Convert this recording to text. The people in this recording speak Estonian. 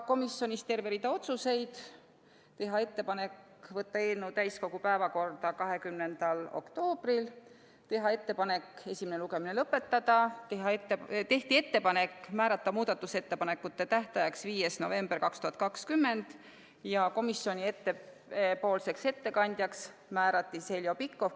Komisjonis võeti vastu terve rida otsuseid: teha ettepanek võtta eelnõu täiskogu päevakorda 20. oktoobril, teha ettepanek esimene lugemine lõpetada, määrata muudatusettepanekute tähtajaks 5. november 2020 ja määrata komisjoni ettekandjaks Heljo Pikhof.